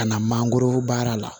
Ka na mangoro baara la